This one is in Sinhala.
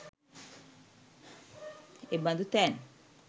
එබඳු තැන්